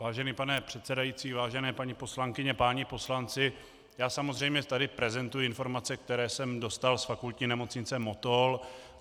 Vážený pane předsedající, vážené paní poslankyně, páni poslanci, já samozřejmě tady prezentuji informace, které jsem dostal z Fakultní nemocnice Motol.